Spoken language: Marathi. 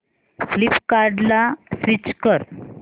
फ्लिपकार्टं ला स्विच कर